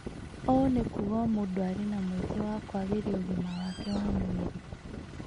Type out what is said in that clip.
ũũ nĩ kuuga o mũndũ arĩ na mweke wa kwagĩria ũgima wake wa mwĩrĩ